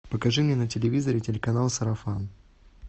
покажи мне на телевизоре телеканал сарафан